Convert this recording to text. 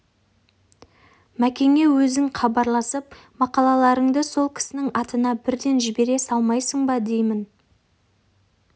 мәкеңе өзі хабарласып мақалаларыңды сол кісінің атына бірден жібере салмайсың ба деймін